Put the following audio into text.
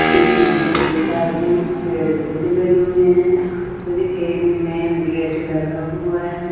इसमें बहुत सारी पेड़ पौधे लगे हुए हैं और एक मेन गेट लगा हुआ है।